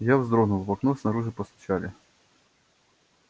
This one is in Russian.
я вздрогнул в окно снаружи постучали